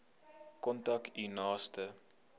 kontak u naaste